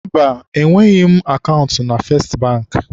Mba, enweghị m akaụntụ na Festị Bankị.